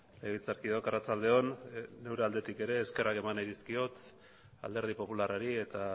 legebiltzarkideok arratsalde on neure aldetik ere eskerrak eman nahi dizkiot alderdi popularrari eta